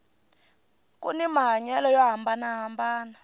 kuni mahanyelo yo hambanana